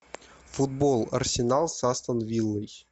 футбол арсенал с астон виллой